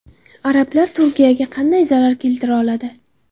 Arablar Turkiyaga qanday zarar keltira oladi?